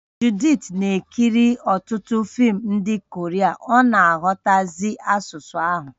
Judith na-ekiri ọtụtụ fim ndị Korea ọ na-aghọtazi asụsụ ahụ